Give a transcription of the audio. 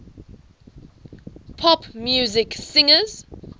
pop music singers